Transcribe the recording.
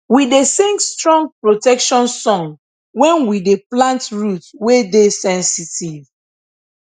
we dey sing strong protection song when we dey plant root wey dey sensitive